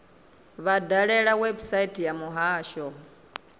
vha dalele website ya muhasho